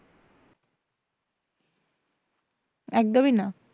একদমই না।